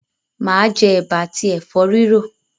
Mà á jẹ ẹ̀bà àti ẹ̀fọ́ rírò.